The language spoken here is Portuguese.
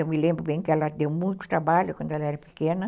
Eu me lembro bem que ela deu muito trabalho quando ela era pequena.